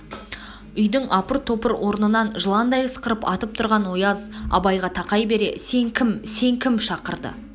үйдің апыр-топыр орнынан жыландай ысқырып атып тұрған ояз абайға тақай бере сен кім сен кім шақырды